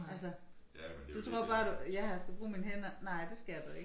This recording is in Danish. Altså du tror bare du jeg har skal bruge mine hænder nej det skal du ikke